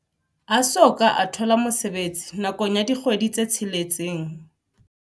A soka a thola mosebetsi nakong ya dikgwedi tse tsheletseng.